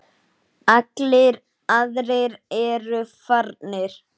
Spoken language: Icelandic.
Allir aðrir eru farnir.